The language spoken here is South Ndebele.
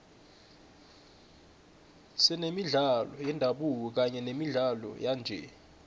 senemidlalo yendabuko kanye nemidlalo yanje